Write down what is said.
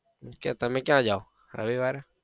means કે તમે ક્યાં જાઓ રવિવારે?